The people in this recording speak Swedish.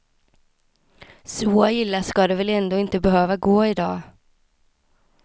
Så illa skall det väl ändå inte behöva gå i dag.